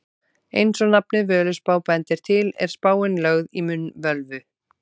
Eins og nafnið Völuspá bendir til er spáin lögð í munn völvu.